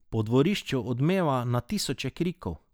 Po dvorišču odmeva na tisoče krikov.